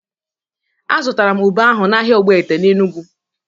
Azụtara m ube ahụ n'ahịa Ogbete n'Enugwu.